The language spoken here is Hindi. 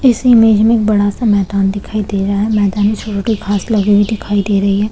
इस इमेज में एक बड़ा -सा मैदान दिखाई दे रहा है मैदान में छोटॆ घास लगा हुआ दिखाई दे रही हैं।